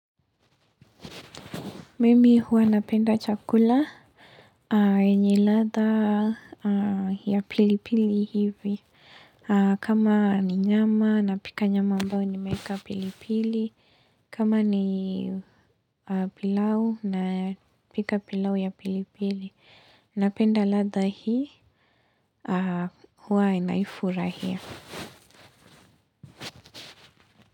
Mimi huwa napenda chakula, yenye ladha ya pilipili hivi. Kama ni nyama, napika nyama ambayo nimeeka pilipili. Kama ni pilau, napika pilau ya pilipili. Napenda ladha hii, huwa naifurahia.